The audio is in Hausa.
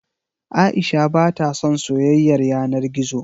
Aisha ba ta son soyayar yana gizo.